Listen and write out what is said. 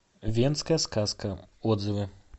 венская сказка отзывы